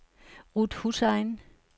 Ruth Hussain